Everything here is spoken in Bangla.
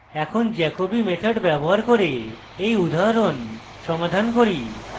এখন jacobi method ব্যবহার করে এই উদাহরণ সমাধান করি